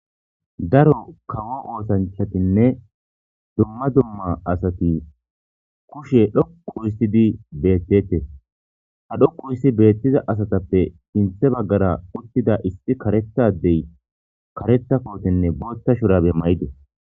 daro kawo oosanchatinne dumma dumma asati kushe dhoqu histidi beettete ha dhoqu hissi beettiza asatappe sinthe baggara uttida issi karettadey karetta kootenne bootta shurabe mayde